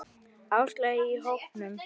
Áslaugu í hópnum.